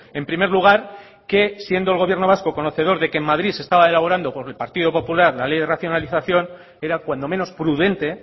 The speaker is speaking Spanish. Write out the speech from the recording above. en primer lugar que siendo el gobierno vasco conocedor de que en madrid se estaba elaborando por el partido popular la ley de racionalización era cuando menos prudente